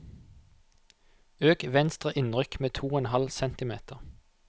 Øk venstre innrykk med to og en halv centimeter